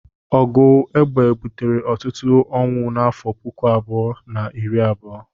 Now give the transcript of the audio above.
Ọgụ egbe butere ọtụtụ onwụ n'afọ puku abụọ na iri abuo.